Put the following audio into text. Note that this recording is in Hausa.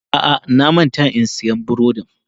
A'a, na manta in siyan burodin.